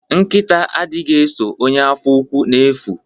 Nkita adighi eso ọnye afọ úkwù nke n'efu.